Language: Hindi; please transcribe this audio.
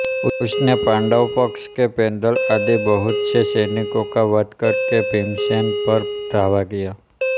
उसने पाण्डवपक्ष के पैदल आदि बहुतसे सैनिकों का वध करके भीमसेन पर धावा किया